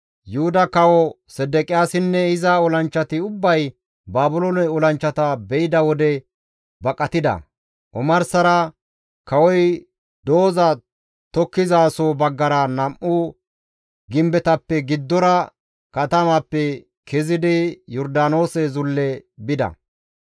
Yuhuda Kawo Sedeqiyaasinne iza olanchchati ubbay Baabiloone olanchchata be7ida wode baqatida; omarsara kawoy dooza tokkizasoho baggara nam7u gimbetappe giddora katamaappe kezidi Yordaanoose zulle bida.